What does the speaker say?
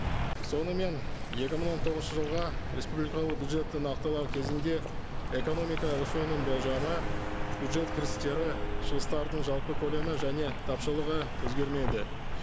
сонымен екі мың он тоғызыншы жылға республикалық бюджетті нақтылау кезінде экономика өсуінің болжамы бюджет кірістері шығыстардың жалпы көлемі және тапшылығы өзгермейді